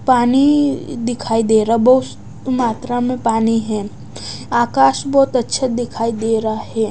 पानी दिखाई दे रहा बहोत मात्रा में पानी है आकाश बहोत अच्छा दिखाई दे रहा है।